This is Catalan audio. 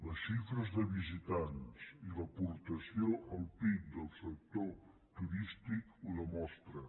les xifres de visitants i l’aportació al pib del sector turístic ho demostren